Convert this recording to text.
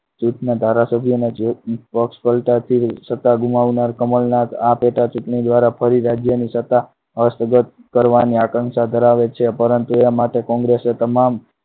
દેશના ધારાસભ્યોને પક્ષ પલટાતી સત્તા ગુમાવનાર કમલનાથ આ પેટા ચુંટણી દ્વારા ફરી રાજ્યની સત્તા અસ્તવ્યસ્ત કરવાની આશંકા ધરાવે છે પરંતુ એ માટે congress તમામ